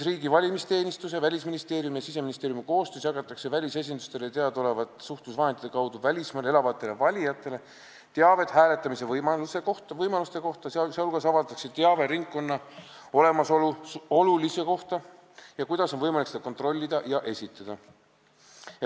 Riigi valimisteenistuse, Välisministeeriumi ja Siseministeeriumi koostöös jagatakse välisesindustele teadaolevate suhtlusvahendite kaudu välismaal elavatele valijatele teavet hääletamise võimaluste kohta, sh avaldatakse teave ringkonna olemasolu olulisuse kohta ja selle kohta, kuidas on võimalik seda kontrollida ja esitada.